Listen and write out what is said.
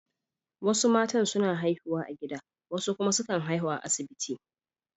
Wasu matan suna haihuwa a gida wasu kuma sukan haihu a asibiti.